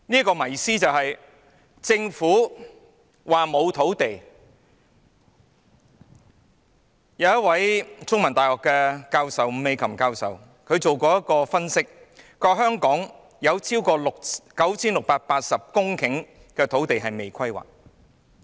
第三，政府說沒有土地，但香港中文大學伍美琴教授曾分析，香港有超過 9,680 公頃土地尚未規劃。